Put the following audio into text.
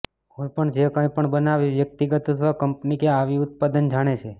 કોઈપણ જે કંઈપણ બનાવે વ્યક્તિગત અથવા કંપની કે આવી ઉત્પાદન જાણે છે